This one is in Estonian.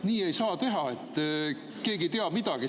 Nii ei saa teha, et keegi ei tea midagi.